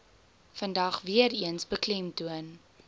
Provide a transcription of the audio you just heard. vandag weereens beklemtoon